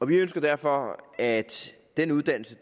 vi ønsker derfor at den uddannelse